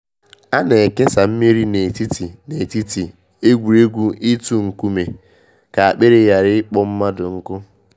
A na ekesa mmiri n’etiti n’etiti egwuregwu itu nkume ka akpịrị ghara ịkpọ mmadụ nkụ.